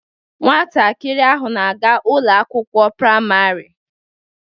Nwatakịrị ahụ na-aga Ụlọ akwụkwọ praịmarị